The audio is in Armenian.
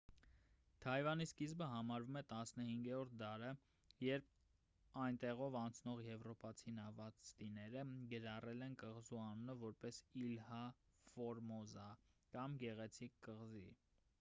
թայվանի սկիզբը համարվում է 15-րդ դարը երբ այնտեղով անցնող եվրոպացի նավաստիները գրառել են կղզու անունը որպես իլհա ֆորմոզա կամ գեղեցիկ կղզի